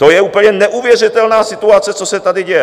To je úplně neuvěřitelná situace, co se tady děje.